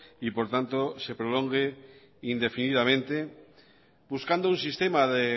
y por tanto se prolongue indefinidamente buscando un sistema de